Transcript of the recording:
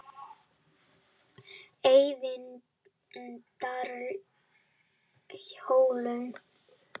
Eyvindarhólum